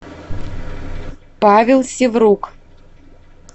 павел сиврук